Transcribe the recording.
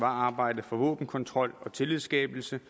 arbejdet for våbenkontrol og tillidsskabelse